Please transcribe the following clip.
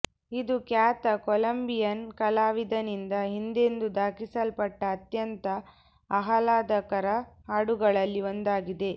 ಇದು ಖ್ಯಾತ ಕೊಲಂಬಿಯನ್ ಕಲಾವಿದನಿಂದ ಹಿಂದೆಂದೂ ದಾಖಲಿಸಲ್ಪಟ್ಟ ಅತ್ಯಂತ ಆಹ್ಲಾದಕರ ಹಾಡುಗಳಲ್ಲಿ ಒಂದಾಗಿದೆ